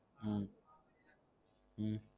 உம் உம்